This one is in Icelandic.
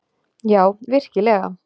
Já, virkilega.